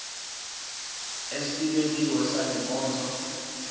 esibekiwe sale nkonzo